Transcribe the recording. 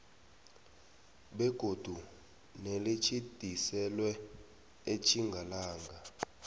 begodu nelitjhidiselwe etjingalanga